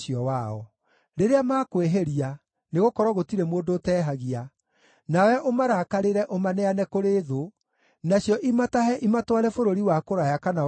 “Rĩrĩa makwĩhĩria, nĩgũkorwo gũtirĩ mũndũ ũtehagia, nawe ũmarakarĩre ũmaneane kũrĩ thũ, nacio imatahe ĩmatware bũrũri wa kũraya kana wa gũkuhĩ;